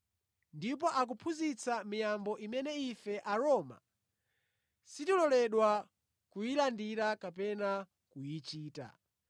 Ndipo akuphunzitsa miyambo imene ife Aroma sitiloledwa kuyilandira kapena kuyichita.”